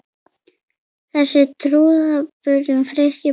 Þessu trúðum við Friðrik báðir.